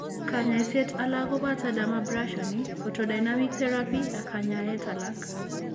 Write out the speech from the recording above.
Kanyaayset alak koboto dermabrasion, photodynamic therapy, ak kanyaayet alak.